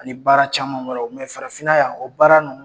Ani baara caman wɛrɛ o farafinna yan o baara